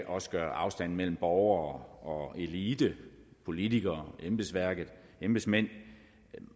også gør afstanden mellem borgere og elite politikere embedsmænd